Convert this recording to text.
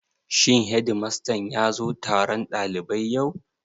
Shin hedimastan ya zo taron ɗalibai yau?